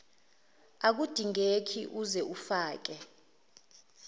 akudingekile uze ufake